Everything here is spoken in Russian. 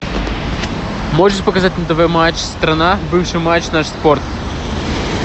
можешь показать на тв матч страна бывший матч наш спорт